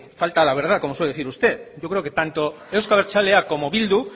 falta la verdad como suele decir usted yo creo que tanto euzko abertzaleak como bildu